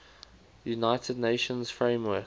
united nations framework